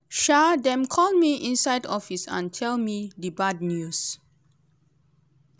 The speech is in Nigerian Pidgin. um dem call me inside office and tell me di bad news.